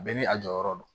Bɛɛ ni a jɔyɔrɔ don